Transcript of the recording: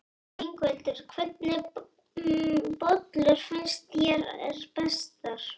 Ingveldur: Hvernig bollur finnst þér bestar?